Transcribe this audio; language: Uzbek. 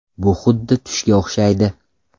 Bu xuddi tushga o‘xshaydi.